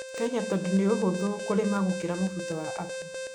Kenya tondũ nĩ ũhũthũ kũrĩma gũkĩra mũbuto wa apple